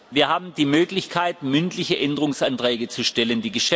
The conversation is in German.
Wir haben die Möglichkeit, mündliche Änderungsanträge zu stellen.